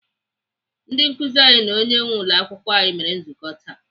Ndị nkụzi anyị na onye nwee ụlọakwụkwọ anyị mere nzukọ taa.